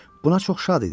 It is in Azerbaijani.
Buna çox şad idi.